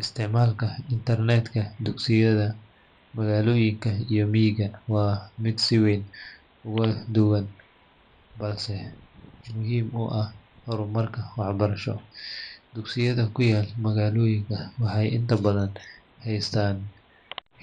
Isticmaalka internet ka dugsiyada magaalooyinka iyo miyigu waa mid si weyn uga duwan, balse muhiim u ah horumarka waxbarasho. Dugsiyada ku yaal magaalooyinka waxay inta badan haystaan